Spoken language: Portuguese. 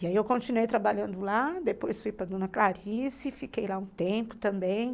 E aí eu continuei trabalhando lá, depois fui para dona Clarice, fiquei lá um tempo também.